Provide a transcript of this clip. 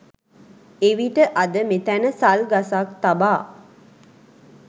එවිට අද මෙතැන සල් ගසක් තබා